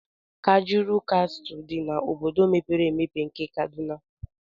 Kajuru Castle dị n'obodo mepere emepe nke Kaduna.